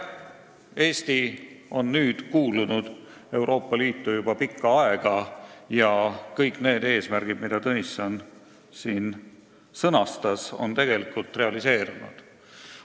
" Eesti on nüüdseks kuulunud Euroopa Liitu juba pikka aega ja kõik need eesmärgid, mille Tõnisson sõnastas, on tegelikult realiseerunud.